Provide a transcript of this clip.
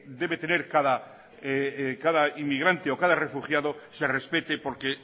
debe tener cada inmigrante o cada refugiado se respete porque